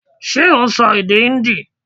Ṣé ò n sọ èdè Híndì